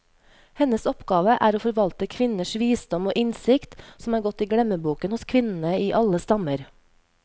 Hennes oppgave er å forvalte kvinners visdom og innsikt, som er gått i glemmeboken hos kvinnene i alle stammer.